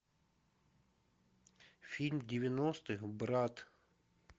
фильм девяностых брат